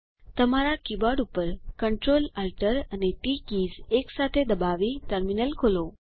તમારા કીબોર્ડ ઉપર Ctrl Alt અને ટી કીઝ એકસાથે દબાવી ટર્મિનલ વિન્ડો ખોલો